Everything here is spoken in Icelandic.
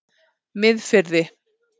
Miðfirði